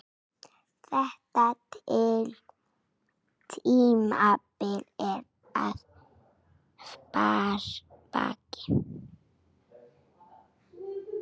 Þetta tímabil er að baki.